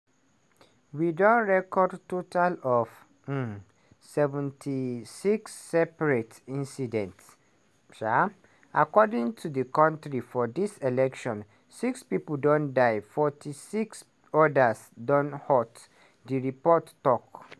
"we don record total of um 76 separate incidents um across di kontri for dis election; 6 pipo don die 46 odas don hurt" di report tok.